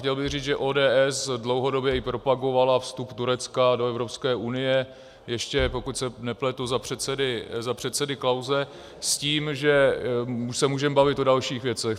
Chtěl bych říct, že ODS dlouhodobě i propagovala vstup Turecka do Evropské unie ještě, pokud se nepletu, za předsedy Klause, s tím, že se můžeme bavit o dalších věcech.